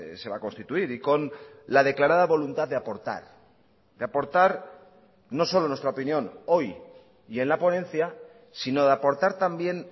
se va a constituir y con la declarada voluntad de aportar de aportar no solo nuestra opinión hoy y en la ponencia sino de aportar también